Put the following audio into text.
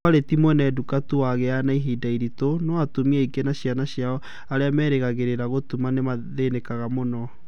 kwarĩ ti mwene duka tu wagĩaga na ihinda iritũ, no atumia aingĩ na ciana cio arĩa merĩgagĩrĩra gũtuma nĩmathĩnĩkaga muno